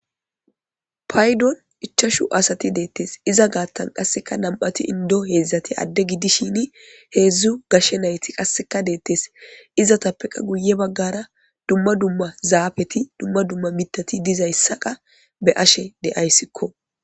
paydon ichashu asati deettes iza gaattan qasseka nam7ati indo heedzdzati adde giddishini heedzdzu gashshe nayti qasseka deettes izatappeqa guye baggara dumma dumma zaafeti dumma dumma mitati dizayssaqa be ashe deyayssikko